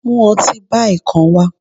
mu otí Bai kán wa